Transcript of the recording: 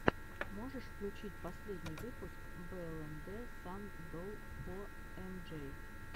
можешь включить последний выпуск блнд сан долл фор эм джей